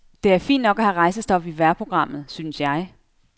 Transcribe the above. Det er fint nok at have rejsestof i vejrprogrammet, synes jeg.